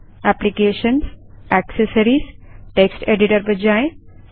applications GT accessories GT text editor पर जाएँ